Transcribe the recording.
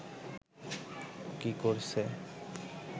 কি করছে